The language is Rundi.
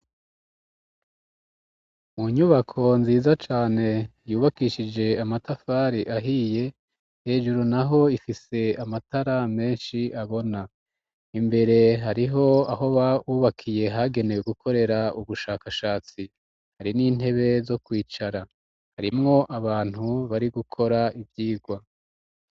Mu nyubako nziza cane yubakishije amatafari ahiye, hejuru na ho ifise amatara menshi abona. Imbere hariho ahoba hubakiye hagenewe gukorera ubushakashatsi. Hari n'intebe zo kwicara. Harimwo abantu bari gukora ivyigwa.